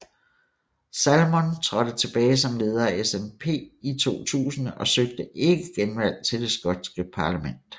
Salmond trådte tilbage som leder af SNP i 2000 og søgte ikke genvalg til det skotske parlament